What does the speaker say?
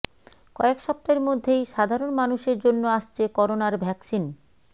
কয়েক সপ্তাহের মধ্যেই সাধারণ মানুষের জন্য আসছে করোনার ভ্যাকসিন